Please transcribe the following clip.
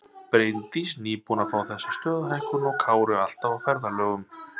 Bryndís nýbúin að fá þessa stöðuhækkun og Kári alltaf á ferðalögum.